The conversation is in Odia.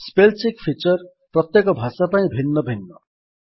ସ୍ପେଲ୍ ଚେକ୍ ଫିଚର୍ ପ୍ରତ୍ୟେକ ଭାଷା ପାଇଁ ଭିନ୍ନ ଭିନ୍ନ